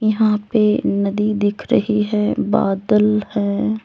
यहां पे नदी दिख रही है बादल है।